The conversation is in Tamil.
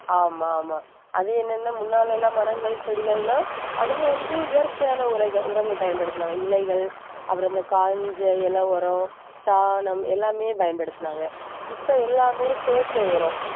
ஆமா ஆமா அது என்னன்னா முன்னாலே எல்லாம் மரங்கள் செடிகள்னா அவங்க வந்து இயற்கையான உரைகள் உரங்கள் பயன்படுத்தினாங்க இலைகள் அப்புறம் இந்த காஞ்ச இலை, உரம், சாணம் எல்லாமே பயன்படுத்தினாங்க இப்ப எல்லாமே செயற்கை உரம்